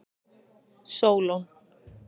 Sólon